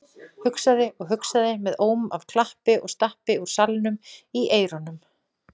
Hugsaði og hugsaði með óm af klappi og stappi úr salnum í eyrunum.